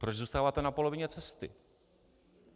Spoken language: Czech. Proč zůstáváte na polovině cesty?